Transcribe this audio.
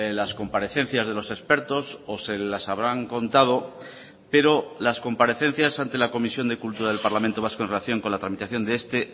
las comparecencias de los expertos o se las habrán contado pero las comparecencias ante la comisión de cultura del parlamento vasco en relación con la tramitación de este